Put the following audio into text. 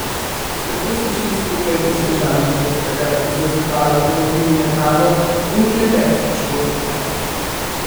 Tako so šli skupaj v Sežano, kjer sta ga za zahvalo povabili na kavo in klepet v Šport bar.